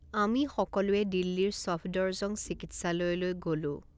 আমি সকলোৱে দিল্লীৰ ছফদৰজং চিকিৎসালয়লৈ গ'লো।